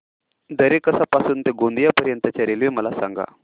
दरेकसा पासून ते गोंदिया पर्यंत च्या रेल्वे मला सांगा